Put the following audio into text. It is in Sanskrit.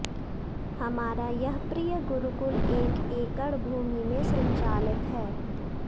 हमारा यह प्रिय गुरुकुल एक एकड़ भूमि में संचालित है